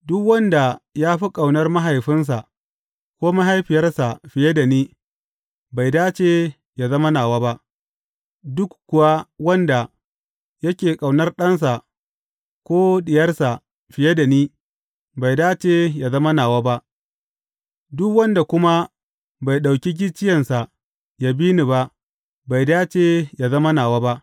Duk wanda ya fi ƙaunar mahaifinsa ko mahaifiyarsa fiye da ni, bai dace yă zama nawa ba; duk kuwa wanda yake ƙaunar ɗansa ko diyarsa fiye da ni, bai dace yă zama nawa ba; duk wanda kuma bai ɗauki gicciyensa ya bi ni ba, bai dace yă zama nawa ba.